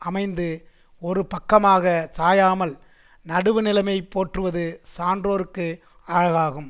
அமைந்து ஒரு பக்கமாக சாயாமல் நடுவுநிலைமை போற்றுவது சான்றோர்க்கு அழகாகும்